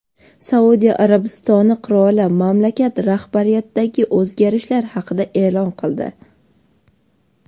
Saudiya Arabistoni qiroli mamlakat rahbariyatidagi o‘zgarishlar haqida e’lon qildi.